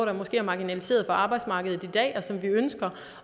der måske er marginaliseret på arbejdsmarkedet i dag og som vi ønsker